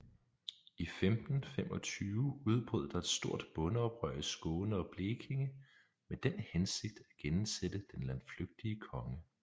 I 1525 udbrød der et stort bondeoprør i Skåne og Blekinge med den hensigt at genindsætte den landflygtige konge